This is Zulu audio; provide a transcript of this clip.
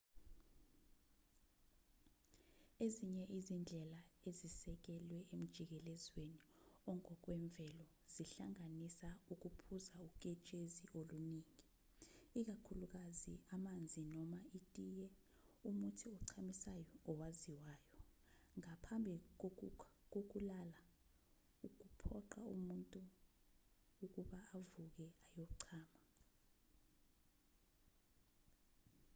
ezinye izindlela ezisekelwe emjikelezweni ongokwemvelo zihlanganisa ukuphuza uketshezi oluningi ikakhulukazi amanzi noma itiye umuthi ochamisayo owaziwayo ngaphambi kokulala okuphoqa umuntu ukuba avuke ayochama